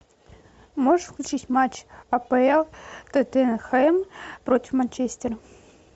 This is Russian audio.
можешь включить матч апл тоттенхэм против манчестера